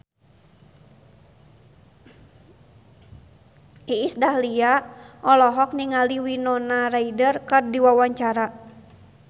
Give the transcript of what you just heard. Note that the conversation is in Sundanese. Iis Dahlia olohok ningali Winona Ryder keur diwawancara